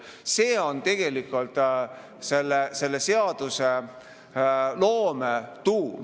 See on tegelikult seadusloome tuum.